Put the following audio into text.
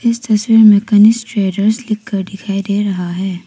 इस तस्वीर में कनिष्क ट्रेडर्स लिखकर दिखाई दे रहा है।